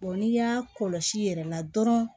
n'i y'a kɔlɔsi i yɛrɛ la dɔrɔn